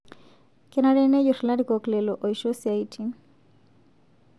Kenare nejur larikok lelo oisho siaitin